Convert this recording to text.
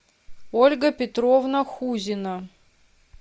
ольга петровна хузина